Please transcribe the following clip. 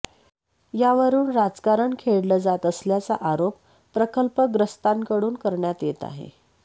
यावरुन राजकारण खेळलं जात असल्याचा आरोप प्रकल्पग्रस्तांकडून करण्यात येत आहे